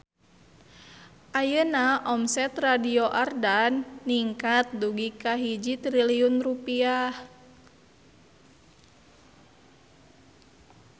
Ayeuna omset Radio Ardan ningkat dugi ka 1 triliun rupiah